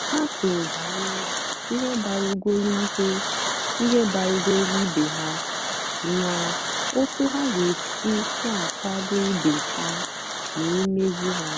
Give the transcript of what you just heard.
ha kwùrù bànyèrè ihe mgbarúgọ́lù ihe mgbarúgọ́lù ìbè ha na otú ha ga-èsì na-àkwàdò ìbè ha n’ìmèzù ha.